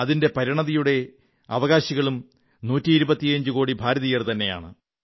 അതിന്റെ പരിണതിയുടെ അവകാശികളും 125 കോടി ഭാരതീയർതന്നെയാണ്